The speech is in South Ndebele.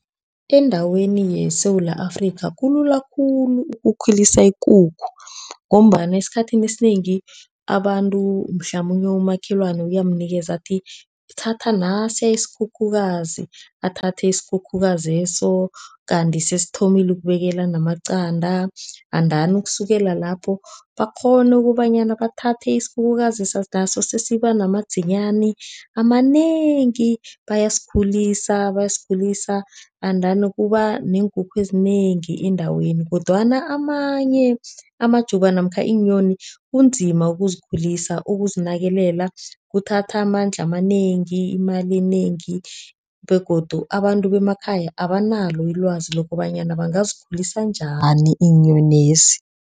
Endaweni yeSewula Afrika kulula khulu ukukhulisa ikukhu ngombana esikhathini esinengi, abantu mhlamunye umakhelwani uyamnikeza athi thatha nasiya isikhukhukazi. Athathe isikhukhukazeso kanti sesithomile ukubekela namaqanda and dani ukusukela lapho bakghone ukobanyana bathathe isikhukhukazeso naso sesithoma ukuba namadzinyani amanengi. Bayasikhulisa, bayasikhulisa andani kuba neenkukhu ezinengi endaweni kodwana amanye amajuba namkha iinyoni kunzima ukuzikhulisa, ukuzinakelela kuthatha amandla amanengi imali enengi begodu abantu bemakhaya abanalo ilwazi lokobanyana bangazikhulisa njani iinyonezi.